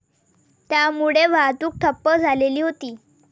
त्यामुळे वाहतूक ठप्प झालेली होती.